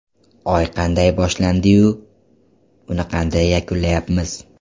Oy qanday boshlandi-yu, uni qanday yakunlayapmiz?